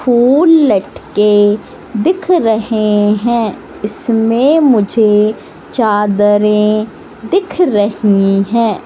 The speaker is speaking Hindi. फूल लटके दिख रहे हैं इसमें मुझे चादरें दिख रही हैं।